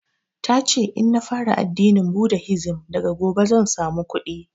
Tace in na fara addinin budahisim daga gobe zan samu kuɗi